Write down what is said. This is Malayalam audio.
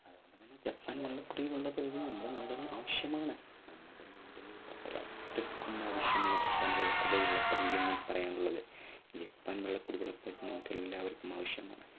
ജപ്പാൻ കുടിവെള്ള പദ്ധതി നമ്മുടെ നാടിന് ആവശ്യമാണ് നമ്മുടെ നാടിന് അത്രയ്ക്കും ആവശ്യമുള്ള ജപ്പാൻ കുടിവെള്ള പദ്ധതി എന്നെനിക്ക് പറയാനുള്ളത്. ജപ്പാൻ കുടിവെള്ള പദ്ധതി നമുക്കെല്ലാവർക്കും ആവശ്യമാണ്.